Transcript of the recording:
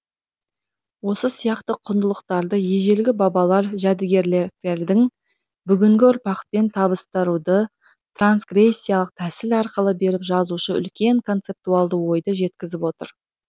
осы сияқты құндылықтарды ежелгі бабалар жәдігерліктерін бүгінгі ұрпақпен табыстыруды трансгрессиялық тәсіл арқылы беріп жазушы үлкен концептуалды ойды жеткізіп отыр